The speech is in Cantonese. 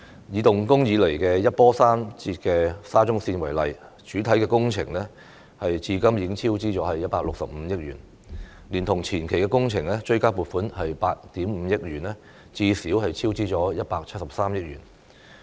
以動工以來一波三折的沙中綫為例，主體工程至今已超支165億元，連同前期工程追加撥款8億 5,000 萬元，最少超支173億元。